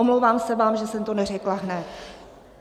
Omlouvám se vám, že jsem to neřekla hned.